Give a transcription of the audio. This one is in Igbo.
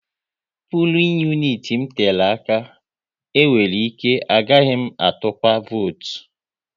Pulin uniti m tere aka, e nwere ike agaghị m atụnwu votu